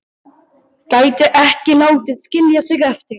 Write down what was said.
Gæti ekki látið skilja sig eftir.